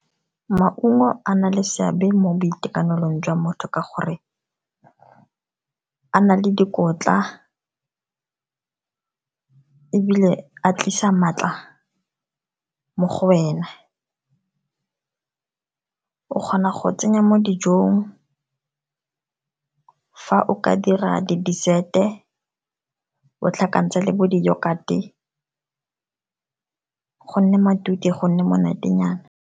Maungo a na le seabe mo boitekanelong jwa motho ka gore, a na le dikotla ebile a tlisa maatla mo go wena. O kgona go tsenya mo dijong fa o ka dira di-dessert-e, o tlhakantsha le bo di-yoghurt-e go nne matute, go nne monatenyana.